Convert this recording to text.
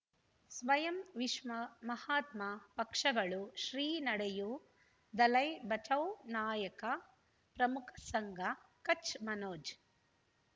ಸ್ವಯಂ ವಿಶ್ವ ಮಹಾತ್ಮ ಪಕ್ಷಗಳು ಶ್ರೀ ನಡೆಯೂ ದಲೈ ಬಚೌ ನಾಯಕ ಪ್ರಮುಖ ಸಂಘ ಕಚ್ ಮನೋಜ್